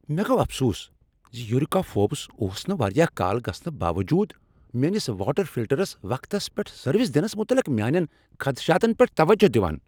مےٚ گوٚو افسوس ز یوریکا فوربز اوس نہٕ واریاہ کال گژھنہٕ باوجوٗد میٲنس واٹر فلٹرس وقتس پیٹھ سروس دنس متعلق میٲنین خدشاتن پیٹھ توجہ دوان۔